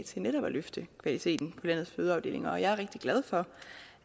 til netop at løfte kvaliteten på landets fødeafdelinger og jeg er rigtig glad for